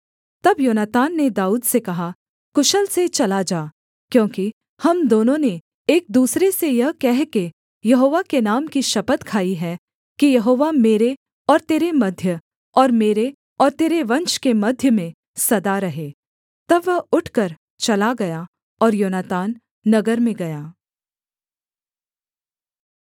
तब योनातान ने दाऊद से कहा कुशल से चला जा क्योंकि हम दोनों ने एक दूसरे से यह कहकर यहोवा के नाम की शपथ खाई है कि यहोवा मेरे और तेरे मध्य और मेरे और तेरे वंश के मध्य में सदा रहे तब वह उठकर चला गया और योनातान नगर में गया